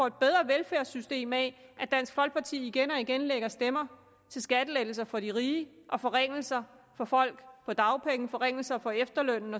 et bedre velfærdssystem af at dansk folkeparti igen og igen lægger stemmer til skattelettelser for de rige og forringelser for folk på dagpenge forringelser af efterlønnen